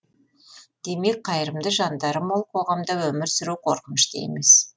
демек қайырымды жандары мол қоғамда өмір сүру қорқынышты емес